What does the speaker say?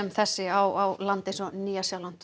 þessi á land eins og Nýja Sjáland